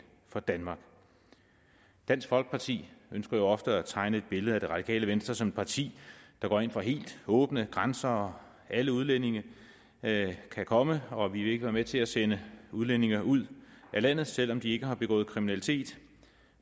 for danmark dansk folkeparti ønsker jo ofte at tegne et billede af det radikale venstre som et parti der går ind for helt åbne grænser og at alle udlændinge kan komme og at vi ikke med til at sende udlændinge ud af landet selv om de ikke har begået kriminalitet